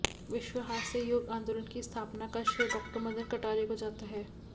विश्व हास्य योग आंदोलन की स्थापना का श्रेय डॉ मदन कटारिया को जाता है